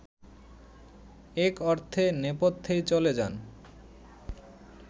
এক অর্থে নেপথ্যেই চলে যান